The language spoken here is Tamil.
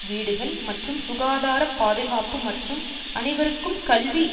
வீடுகள் மற்றும் சுகாதார பாதுகாப்பு மற்றும் அனைவருக்கும் கல்வி